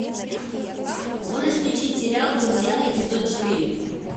можешь включить сериал друзья эпизод четыре